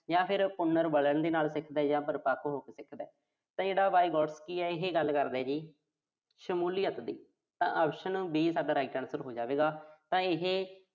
ਜਾਂ ਫਿਰ ਉਮਰ ਵਧਣ ਦੇ ਨਾਲ ਸਿੱਖਦਾ ਜਾਂ ਪਰਿਪੱਕ ਹੋ ਕੇ ਸਿੱਖਦਾ। ਇਹ ਜਿਹੜਾ Vygotsky ਆ, ਇਹੇ ਗੱਲ ਕਰਦਾ ਜੀ, ਸ਼ਮੂਲੀਅਤ ਦੀ। ਤਾਂ option B ਜਿਹੜੀ ਸਾਡਾ right answer ਹੋ ਜਾਵੇਗਾ। ਤਾਂ ਇਹ